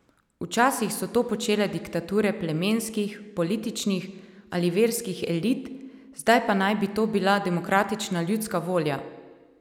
Včasih so to počele diktature plemenskih, političnih ali verskih elit, zdaj pa naj bi to bila demokratična ljudska volja!